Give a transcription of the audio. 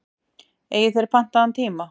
Eigið þér pantaðan tíma?